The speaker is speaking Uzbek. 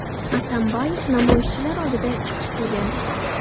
Atambayev namoyishchilar oldida chiqish qilgan.